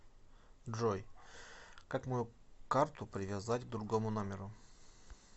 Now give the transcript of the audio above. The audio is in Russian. джой как мою карту привязать к другому номеру